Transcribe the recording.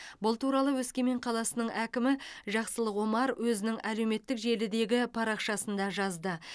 бұл туралы өскемен қаласының әкімі жақсылық омар өзінің әлеуметтік желідегі парақшасында жазды